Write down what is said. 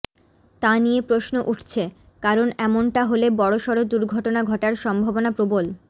তা নিয়ে প্রশ্ন উঠছে কারণ এমনটা হলে বড়সড় দুর্ঘটনা ঘটার সম্ভাবনা প্রবল